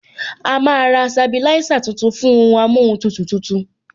A máa ra sabilisa tuntun fún ohun amóhun tutù tuntun